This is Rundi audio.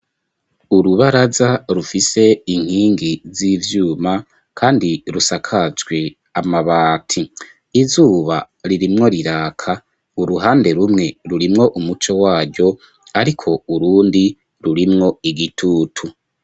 Urubaraza rufise inkingi z'ivyuma kandi rusakajwe amabati izuba ririmwo riraka, uruhande rumwe rurimwo umuco waryo ariko urundi rurimwo igitutu.